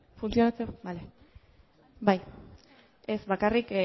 bai ez bakarrik